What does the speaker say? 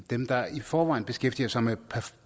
dem der i forvejen beskæftiger sig med